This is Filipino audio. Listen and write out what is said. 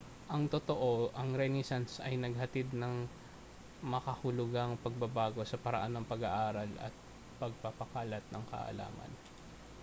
ang totoo ang renaissance ay naghatid ng makahulugang pagbabago sa paraan ng pag-aaral at pagpapakalat ng kaalaman